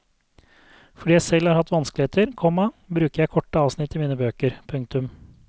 Fordi jeg selv har hatt vanskeligheter, komma bruker jeg korte avsnitt i mine bøker. punktum